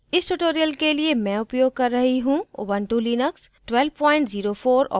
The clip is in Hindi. इस tutorial के लिए मैं उपयोग कर रही हूँ ऊबंटु लिनक्स 1204 operating system